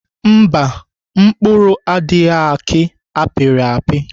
Mba, mkpụrụ adịghị aki apịrị apị.